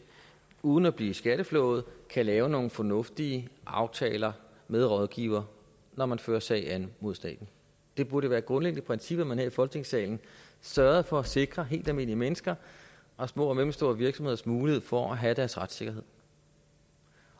uden at blive skatteflået kan lave nogle fornuftige aftaler med rådgiver når man fører sag mod staten det burde være et grundlæggende princip at man her i folketingssalen sørgede for at sikre helt almindelige menneskers og små og mellemstore virksomheders mulighed for at have deres retssikkerhed